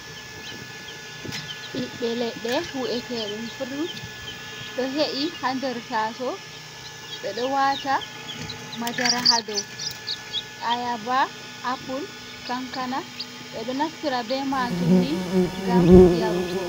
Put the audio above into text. Ɓiɓɓe leɗɗe, wi’etee ɗun furut, ɗo he’i haa nder tasowo. Ɓe ɗo waata madara haa dow. Ayaba, apul, kankana ɓe ɗo naftira bee maajum ni gam yarugo.